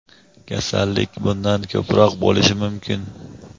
kasallik bundan ko‘proq bo‘lishi mumkin.